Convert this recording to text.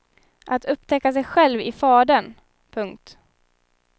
Att upptäcka sig själv i fadern. punkt